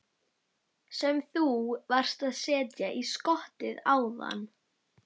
Sem þú varst að setja í skottið áðan?